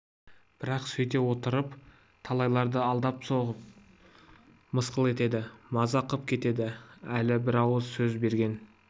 бірақ сөйте отырып талайларды алдап соғады мысқыл етеді мазақ қып кетеді әлі бір ауыз сөз берген